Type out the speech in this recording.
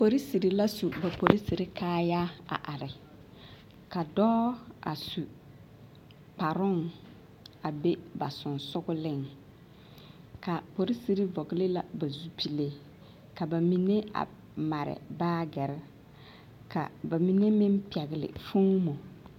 Polisiri la su ba polisiri kaayaa a are ka dɔɔ su kparoŋ a be ba sensogleŋ ka polisiri vɔgle la ba zupile ka ba mine a mare baagere ka ba mine meŋ a pɛgle foomo.